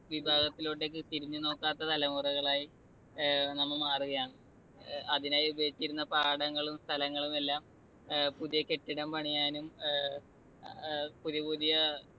വിഭാഗത്തിലോട്ടെക്ക് തിരിഞ്ഞുനോക്കാത്ത തലമുറകളായി ഏർ നാം മാറുകയാണ്. അതിനായി ഉപയോഗിച്ചിരുന്ന പാടങ്ങളും സ്ഥലങ്ങളുമെല്ലാം പുതിയ കെട്ടിടം പണിയാനും ഏർ പുതിയ പുതിയ